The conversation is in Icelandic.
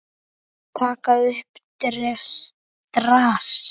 Taka upp drasl.